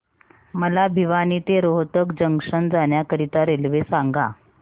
मला भिवानी ते रोहतक जंक्शन जाण्या करीता रेल्वे सांगा